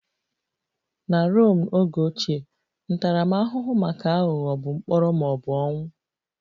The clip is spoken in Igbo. Na Rom oge ochie, ntaramahụhụ maka aghụghọ bụ mkpọrọ ma ọ bụ ọnwụ